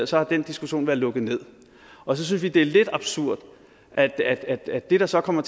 så har den diskussion været lukket ned og så synes vi det er lidt absurd at at det der så kommer